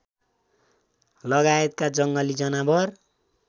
लगायतका जङ्गली जनावर